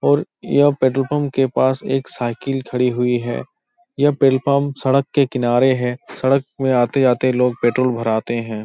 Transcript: और यह petrol pump के पास एक साईकिल खड़ी हुई है। यह पेट्रोल पम्प सड़क के किनारे है। सड़क में आते जाते लोग पेट्रोल भराते हैं।